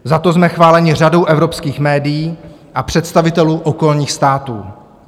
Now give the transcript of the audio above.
Za to jsme chváleni řadou evropských médií a představitelů okolních států.